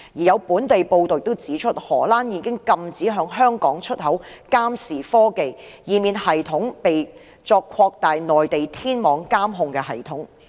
有本地報道也指出，荷蘭已經禁止向香港出口監視科技，以免系統被用作擴大內地天網監控系統之用。